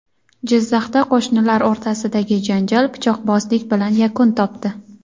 Jizzaxda qo‘shnilar o‘rtasidagi janjal pichoqbozlik bilan yakun topdi.